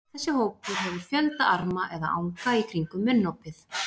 Þessi hópur hefur fjölda arma eða anga í kringum munnopið.